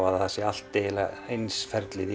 að það er allt eins ferlið í